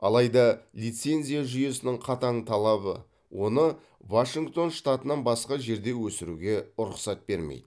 алайда лицензия жүйесінің қатаң талабы оны вашингтон штатынан басқа жерде өсіруге рұқсат бермейді